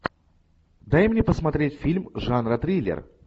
дай мне посмотреть фильм жанра триллер